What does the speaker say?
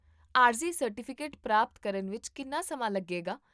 ਆਰਜ਼ੀ ਸਰਟੀਫਿਕੇਟ ਪ੍ਰਾਪਤ ਕਰਨ ਵਿੱਚ ਕਿੰਨਾ ਸਮਾਂ ਲੱਗੇਗਾ?